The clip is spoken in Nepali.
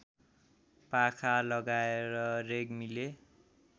पाखा लगाएर रेग्मीले